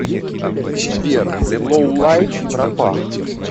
сбер лоулайф пропах